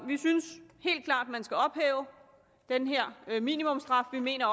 vi synes helt klart at man skal ophæve den her minimumsstraf vi mener